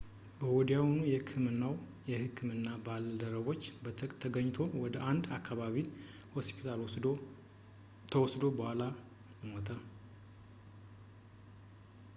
ወዲያውኑ በሕክምናው የሕክምና ባልደረቦች ተገኝቶ ወደ አንድ የአከባቢ ሆስፒታል ተወስዶ በኋላ ሞተ